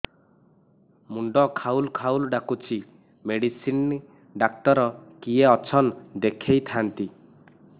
ମୁଣ୍ଡ ଖାଉଲ୍ ଖାଉଲ୍ ଡାକୁଚି ମେଡିସିନ ଡାକ୍ତର କିଏ ଅଛନ୍ ଦେଖେଇ ଥାନ୍ତି